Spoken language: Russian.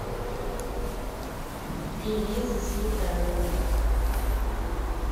элиза сметанина